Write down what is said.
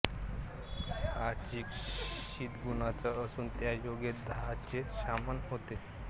हा चीक शीतगुणांचा असून त्यायोगे दाहाचे शमन होते